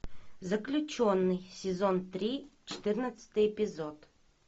заключенный сезон три четырнадцатый эпизод